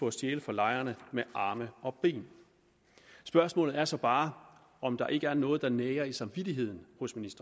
at stjæle fra lejerne med arme og ben spørgsmålet er så bare om der ikke er noget der nager ministerens samvittighed